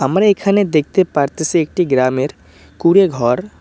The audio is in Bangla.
আমরা এখানে দেখতে পারতাসি একটি গ্রামের কুঁড়ে ঘর।